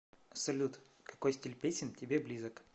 салют какой стиль песен тебе близок